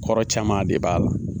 Kɔrɔ caman de b'a la.